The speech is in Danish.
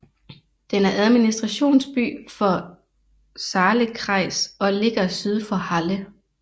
Den er administrationsby for Saalekreis og ligger syd for Halle